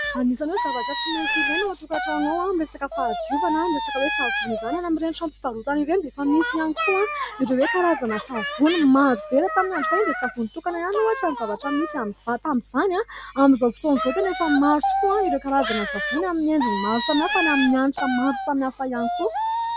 Anisan'ny hoe zavatra tsy maintsy ilaina ao an-tokantrano ao ny resaka fahadiovana, ny resaka hoe savony izany. Any amin'ireny tranom-pivarotana ireny dia efa misy ihany koa ireo hoe karazana savony maro be. Raha tamin'ny andro fahiny dia savony tokana ihany ohatra ny zavatra misy amin'izany tamin'izany, amin'izao fotoana izao tena efa maro tokoa ireo karazana savony amin'ny endriny maro samihafa ary amin'ny hanitra maro samihafa ihany koa.